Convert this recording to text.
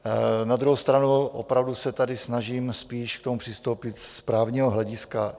Na druhou stranu opravdu se tady snažím spíš k tomu přistoupit z právního hlediska.